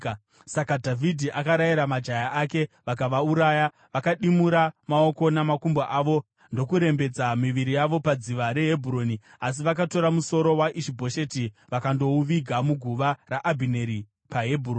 Saka Dhavhidhi akarayira majaya ake, vakavauraya. Vakadimura maoko namakumbo avo ndokurembedza miviri yavo padziva reHebhuroni. Asi vakatora musoro waIshi-Bhosheti vakandouviga muguva raAbhineri paHebhuroni.